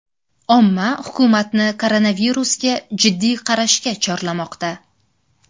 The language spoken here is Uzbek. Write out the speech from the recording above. Omma hukumatni koronavirusga jiddiy qarashga chorlamoqda.